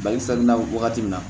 Balisen na wagati min na